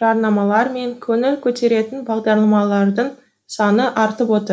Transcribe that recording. жарнамалар мен көңіл көтеретін бағдарламалардың саны артып отыр